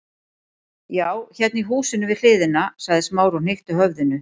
Já, hérna í húsinu við hliðina- sagði Smári og hnykkti höfðinu.